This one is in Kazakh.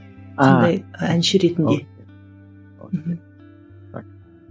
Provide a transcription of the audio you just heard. ыыы қандай әнші ретінде мхм